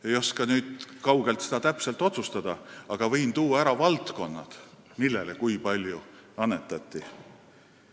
Ma ei oska seda siit kaugelt täpselt otsustada, aga võin ära tuua valdkonnad, mille jaoks ja kui palju annetati.